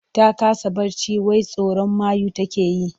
Ta kasa barci wai tsoron mayu take yi.